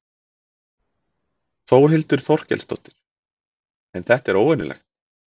Þórhildur Þorkelsdóttir: En þetta er óvenjulegt?